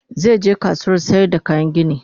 zai je kasuwar sayar da kayan gini